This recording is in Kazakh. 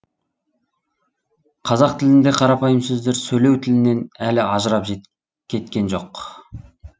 қазақ тілінде қарапайым сөздер сөйлеу тілінен әлі ажырап жет кеткен жоқ